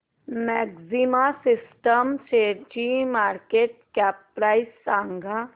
maxima Systems शेअरची market cap price सांगा